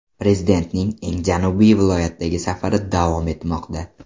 Prezidentning eng janubiy viloyatdagi safari davom etmoqda.